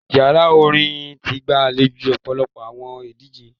Yara orin ti gbalejo ọpọlọpọ awọn idije